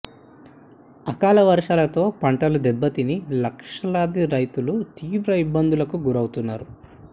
అకాల వర్షాలతో పంటలు దెబ్బ తిని లక్షలాది రైతులు తీవ్ర ఇబ్బందులకు గురి అవుతున్నారు